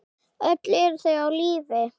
Öll eru þau á lífi.